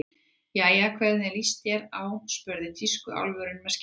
Jæja, hvernig líst þér á spurði tískuálfurinn með skærin.